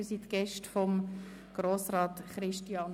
Herzlich willkommen hier im Rathaus!